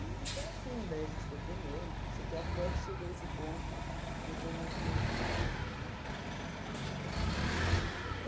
foi assim, daí a gente foi comendo, tudo, não sei o quê, até que chegou esse ponto de eu conhecer esse rapaz aí, lá na Record.